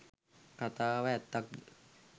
කතාව ඇත්තක්ද?